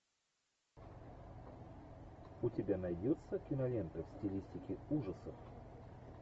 у тебя найдется кинолента в стилистике ужасов